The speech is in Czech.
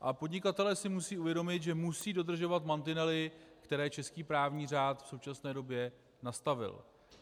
A podnikatelé si musí uvědomit, že musí dodržovat mantinely, které český právní řád v současné době nastavil.